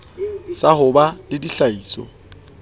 sa ho ba le ditlhahiso